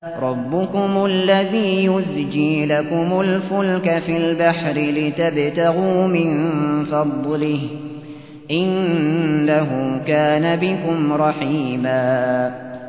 رَّبُّكُمُ الَّذِي يُزْجِي لَكُمُ الْفُلْكَ فِي الْبَحْرِ لِتَبْتَغُوا مِن فَضْلِهِ ۚ إِنَّهُ كَانَ بِكُمْ رَحِيمًا